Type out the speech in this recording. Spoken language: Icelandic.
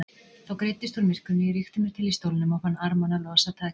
Þá greiddist úr myrkrinu, ég rykkti mér til í stólnum og fann armana losa takið.